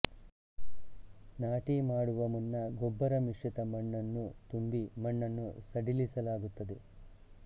ನಾಟಿ ಮಾಡುವ ಮುನ್ನ ಗೊಬ್ಬರ ಮಿಶ್ರಿತ ಮಣ್ಣನ್ನು ತುಂಬಿ ಮಣ್ಣನ್ನು ಸಡಿಲಿಸಲಾಗುತ್ತದೆ